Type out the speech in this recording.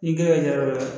Ni gɛrɛ ɲɛ yɔrɔ la